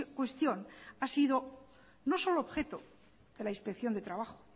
cuestión ha sido no solo objeto de la inspección de trabajo